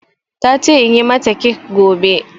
Ta ce in yi mata kek gobe